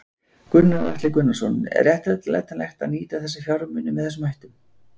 Gunnar Atli Gunnarsson: Er réttlætanlegt að nýta þessa fjármuni með þessum hætti?